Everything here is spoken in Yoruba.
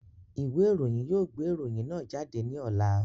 Ìwé ìròyìn yóò gbé ìròyìn náà jáde ní ọ̀la